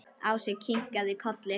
Ási kinkaði kolli.